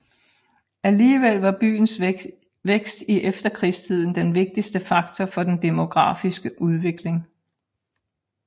Alligevel var byens vækst i efterkrigstiden den vigtigste faktor for den demografiske udvikling